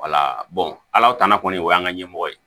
ala tana kɔni o y'an ka ɲɛmɔgɔ ye